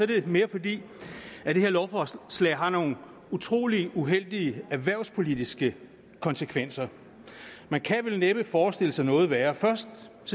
det mere fordi det her lovforslag har nogle utrolig uheldige erhvervspolitiske konsekvenser man kan vel næppe forestille sig noget værre først